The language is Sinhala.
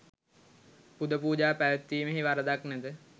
පුද පූජා පැවැත්වීමෙහි වරදක් නැත.